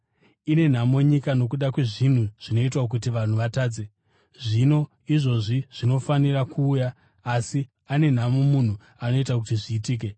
“Ine nhamo nyika nokuda kwezvinhu zvinoita kuti vanhu vatadze! Zvinhu izvozvo zvinofanira kuuya asi ane nhamo munhu anoita kuti zviitike.